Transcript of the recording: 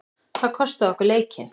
Það kostaði okkur leikinn.